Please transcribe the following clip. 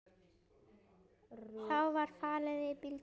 Þá var farið í bíltúr.